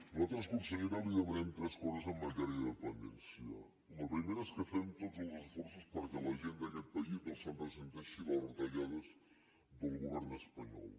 nosaltres consellera li demanem tres coses en matèria de dependència la primera és que fem tots els esforços perquè la gent d’aquest país no es ressenti de les retallades del govern espanyol